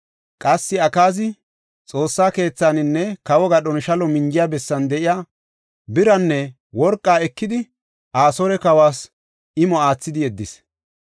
Qassi Akaazi Xoossa keethaanne kawo gadhon shalo minjiya bessan de7iya biraanne worqaa ekidi, Asoore kawas imota oothidi yeddis.